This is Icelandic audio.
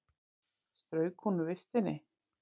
Strauk hún úr vistinni?